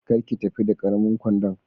Kar ki tafi da karamin kwandon.